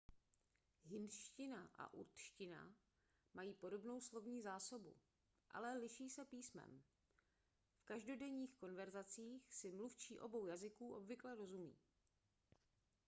hindština a urdština mají podobnou slovní zásobu ale liší se písmem v každodenních konverzacích si mluvčí obou jazyků obvykle rozumí